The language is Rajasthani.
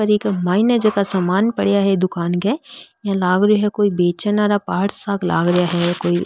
और इक मायने जका समान पड़या है दुकान के इया लाग रियो है कोई बेचैन वाला पार्ट सा क लाग रिया है कोई।